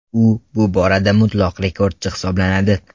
U bu borada mutlaq rekordchi hisoblanadi.